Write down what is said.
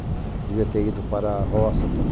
Devia ter ido para a roça tal.